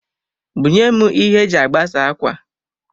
Bunyem ihe e ji agbasa akwa